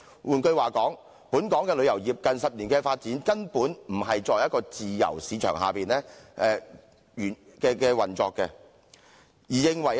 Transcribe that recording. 換言之，本港旅遊業近10年根本不是在自由市場的原則下運作。